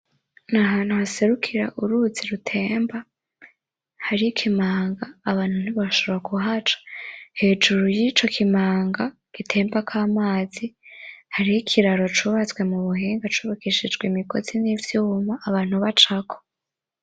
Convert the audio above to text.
N'ahantu haserukira uruzi rutemba hari ikimanga abantu ntiboshobora kuhaca hejuru y'ico kimanga gitembako amazi har'ikiraro cubatswe mu buhinga cubakishijwe imigozi n'ivyuma abantu bacako.